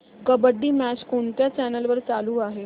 kabaddi match कोणत्या channel वर चालू आहे